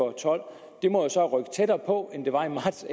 og tolv må jo så rykke tættere på end det var i marts